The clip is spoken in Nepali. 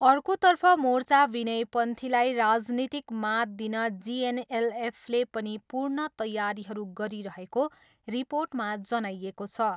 अर्कोतर्फ मोर्चा विनय पन्थीलाई राजनीतिक मात दिन जिएनएलएफले पनि पूर्ण तैयारीहरू गरिरहेको रिर्पोटमा जनाइएको छ।